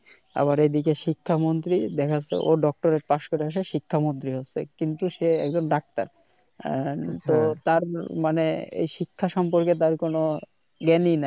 আবার এদিকে শিক্ষা মন্ত্রী দেখা যাচ্ছে ও doctorate pass করে শিক্ষা মন্ত্রি হচ্ছে কিন্তু সে একজন ডাক্টার এ তো তার মানে এ শিক্ষা সম্পর্কে তার কোন জ্ঞানই নাই